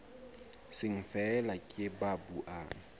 seng feela ke ba buang